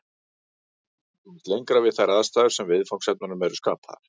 Ekki verður komist lengra við þær aðstæður sem viðfangsefnunum eru skapaðar.